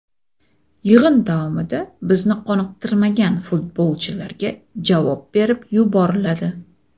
Yig‘in davomida bizni qoniqtirmagan futbolchilarga javob berib yuboriladi.